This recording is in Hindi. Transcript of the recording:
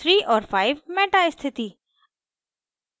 * 3 और 5 meta स्थिति